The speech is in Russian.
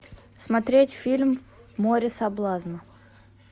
смотреть фильм море соблазна